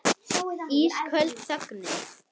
Ísköld þögnin.